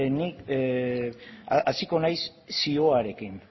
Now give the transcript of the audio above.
ni hasiko naiz zioarekin